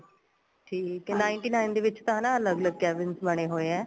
ਠੀਕ ਏ ninety nine ਦੇ ਵਿੱਚ ਨਾ ਅੱਲਗ ਅੱਲਗ cabins ਬਣੇ ਹੋਏ ਏ